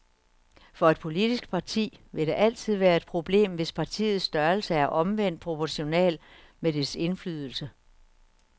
For et politisk parti vil det altid være et problem, hvis partiets størrelse er omvendt proportional med dets indflydelse.